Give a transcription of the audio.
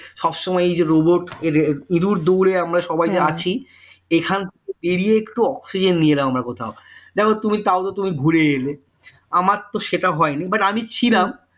বসময় এইযে robot ইঁদুর দৌড়ে আমরা সবাই যে আছি এখানে এড়িয়ে একটু oxygen নিয়ে এলাম কোথাও দেখো তুমি তাও তো তুমি ঘুরে এলে আমার তো সেটা হয়নি but ছিলাম